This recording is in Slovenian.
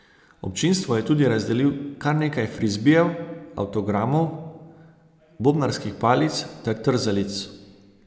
Občinstvu je tudi razdelil kar nekaj frizbijev, avtogramov, bobnarskih palic ter trzalic.